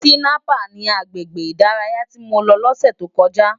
Tinàpá ni àgbégbé idàráyá ti mó n lò lòsè tó n bò